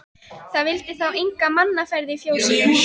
Það vildi þá enga mannaferð í fjósinu.